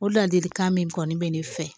O ladilikan min kɔni bɛ ne fɛ